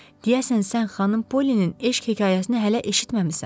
Deyəsən sən xanım Pollinin eşq hekayəsini hələ eşitməmisən.